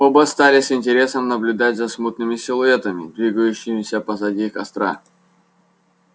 оба стали с интересом наблюдать за смутными силуэтами двигающимися позади костра